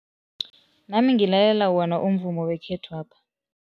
Nami ngilalela wona umvumo wekhethwapha.